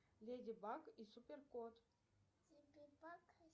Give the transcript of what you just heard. леди баг и супер кот